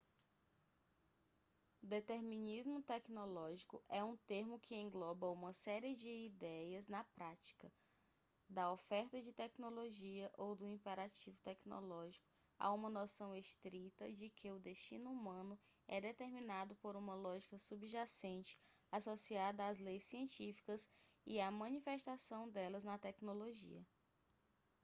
determinismo tecnológico é um termo que engloba uma série de ideias na prática da oferta de tecnologia ou do imperativo tecnológico a uma noção estrita de que o destino humano é determinado por uma lógica subjacente associada às leis científicas e à manifestação delas na tecnologia